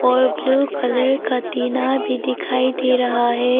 और blue colour का टिना भी दिखाई दे रहा है।